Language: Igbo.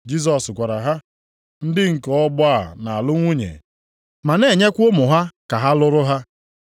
Jisọs gwara ha, “Ndị nke ọgbọ a na-alụ nwunye, ma na-enyekwa ụmụ ha ka a lụrụ ha.